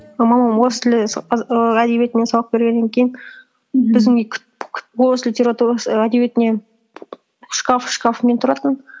мамам орыс тілі і әдебиетінен сабақ бергеннен кейін біздің үй орыс і әдебиетіне шкаф шкафымен тұратын